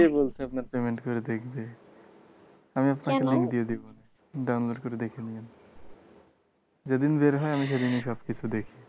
কে বলছে আপনার payment কইরে দেখবে। আমি আপনাকে একটা link দিয়ে দেব download করে দেখে নিয়েন। যেদিন বের হয় আমি সেদিনই সবকিছু দেখি।